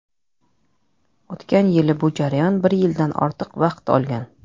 O‘tgan yili bu jarayon bir yildan ortiq vaqt olgan.